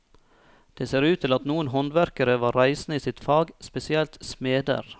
Det ser ut til at noen håndverkere var reisende i sitt fag, spesielt smeder.